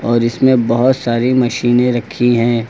और इसमें बहोत सारी मशीने रखी है।